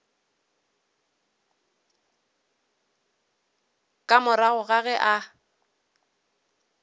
ka morago ga ge a